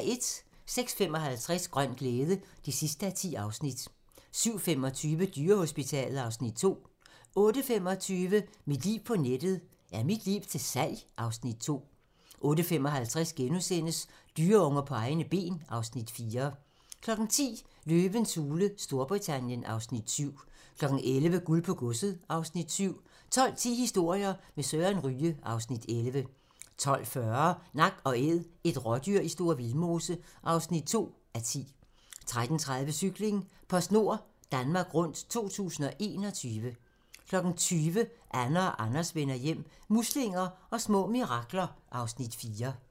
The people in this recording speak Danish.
06:55: Grøn glæde (10:10) 07:25: Dyrehospitalet (Afs. 2) 08:25: Mit liv på nettet: Er mit liv til salg? (Afs. 2) 08:55: Dyreunger på egne ben (Afs. 4)* 10:00: Løvens hule Storbritannien (Afs. 7) 11:00: Guld på godset (Afs. 7) 12:10: Historier med Søren Ryge (Afs. 11) 12:40: Nak & Æd - et rådyr i Store Vildmose (2:10) 13:30: Cykling: PostNord Danmark Rundt 2021 20:00: Anne og Anders vender hjem - muslinger og små mirakler (Afs. 4)